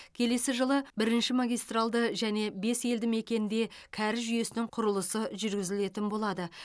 келесі жылы бірінші магистралды және бес елді мекенде кәріз жүйесінің құрылысы жүргізілетін болады